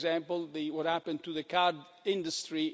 For example, what happened to the car industry